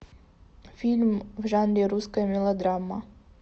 фильм в жанре русская мелодрама